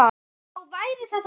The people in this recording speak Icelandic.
Þá væri þetta búið.